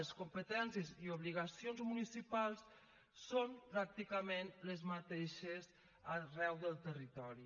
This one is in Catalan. les competències i obligacions municipals són pràcticament les mateixes arreu del territori